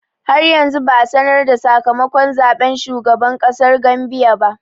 Har yanzu ba a sanar da sakamakon zaɓen shugaban ƙasar Gambia ba.